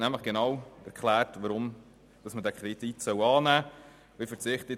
Sie hat nämlich genau erklärt, weshalb man diesen Kredit annehmen sollte.